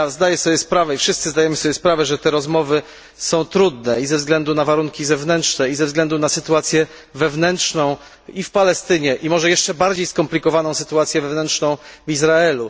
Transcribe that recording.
Zdaję sobie sprawę, i wszyscy zdajemy sobie sprawę, że te rozmowy są trudne ze względu na warunki zewnętrzne i ze względu na sytuację wewnętrzną w Palestynie i może jeszcze bardziej skomplikowaną sytuację wewnętrzną w Izraelu.